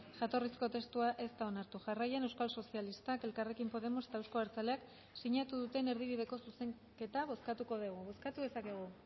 jatorrizko testua ez da onartu jarraian euskal sozialistak elkarrekin podemos eta euzko abertzaleak sinatu duten erdibideko zuzenketa bozkatuko dugu bozkatu dezakegu